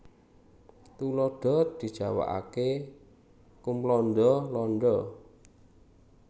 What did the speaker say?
Tuladha dijawakaké kumlanda landa